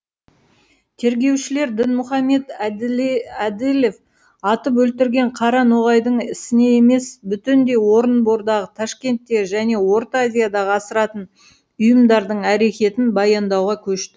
тергеушілер дінмұхамед әділев атып өлтірген қара ноғайдың ісіне емес бүтіндей орынбордағы ташкенттегі және орта азиядағы асыратын ұйымдардың әрекетін баяндауға көш